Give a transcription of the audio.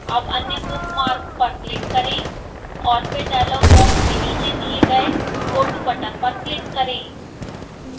अब अन्य bookmark पर click करें और और फिर डायलॉग बॉक्स के नीचे दिए गए go to बटन पर click करें